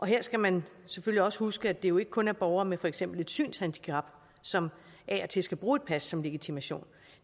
her skal man selvfølgelig også huske at det jo ikke kun er borgere med for eksempel et synshandicap som af og til skal bruge et pas som legitimation